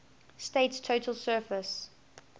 state's total surface